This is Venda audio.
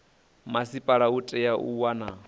masipala u itela u wana